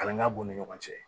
Kalanka b'u ni ɲɔgɔn cɛ